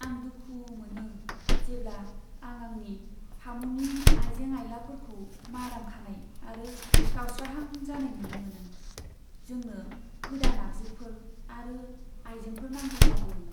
आं दुखु मोनो जेब्ला आं आंनि फामुनि आइजें आइलाफोरखौ माराम खानाय आरो गावस्राहां जानाय नुनो मोनो। जोंनो गोदान आगजुफोर आरो आइजेंफोर नांगौ जादों।